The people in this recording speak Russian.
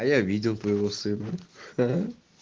а я видел твоего сына ха